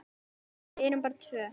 Við erum bara tvö.